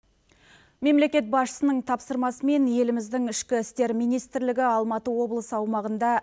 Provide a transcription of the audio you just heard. мемлекет басшысының тапсырмасымен еліміздің ішкі істер министрлігі алматы облысы аумағында